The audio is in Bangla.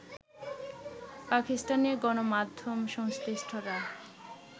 পাকিস্তানি গণমাধ্যম সংশ্লিষ্টরা